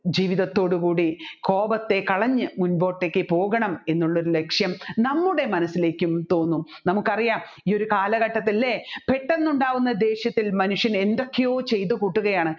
ജീവിതത്തോട് കൂടി കോപത്തെ കളഞ്ഞ് മുൻപൊട്ടേക്ക് പോകണം എന്നുള്ളൊരു ലക്ഷ്യം നമ്മുടെ മനസ്സിലേക്കും തോന്നും നമുക്കറിയാം ഈ ഒരു കാലഘട്ടത്തിൽ അല്ലെ പെട്ടെന്ന് ഉണ്ടാക്കുന്ന ദേഷ്യത്തിൽ മനുഷ്യൻ എന്തൊക്കെയോ ചെയ്തുകൂട്ടുകയാണ്